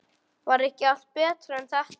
Var ekki allt betra en þetta?